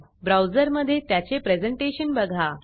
ब्राऊजरमधे त्याचे प्रेझेंटेशन बघा